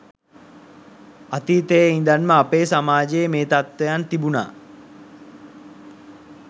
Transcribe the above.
අතීතයේ ඉඳන්ම අපේ සමාජයේ මේ තත්වයන් තිබුනා